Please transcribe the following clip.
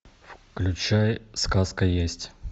включай сказка есть